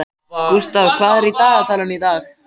Gústaf, hvað er í dagatalinu í dag?